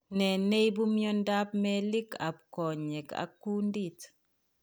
Nee neibu miondab meelik ab konyek ak kundit